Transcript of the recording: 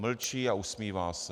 Mlčí a usmívá se.